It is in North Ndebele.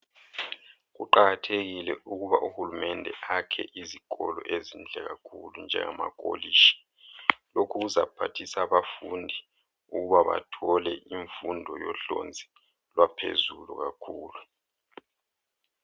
Kuqakathekile ukuba uhulumende akhe izikolo ezinhle kakhulu njengamakolitshi . Lokhu kuzaphathisa abafundi ukuba bathole imfundo yohlonzi lwaphezulu kakhulu .